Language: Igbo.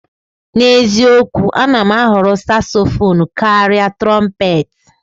N'eziokwu, a na m ahọrọ Sasofonu karịa Trompetị.